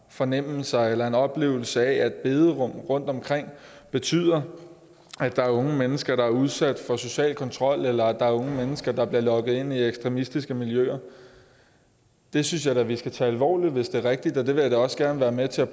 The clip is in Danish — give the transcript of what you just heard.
fornemmelse eller en oplevelse af at bederum rundtomkring betyder at der er unge mennesker der er udsat for social kontrol eller at der er unge mennesker der bliver lokket ind i ekstremistiske miljøer det synes jeg da vi skal tage alvorligt hvis det er rigtigt og jeg vil da også gerne være med til at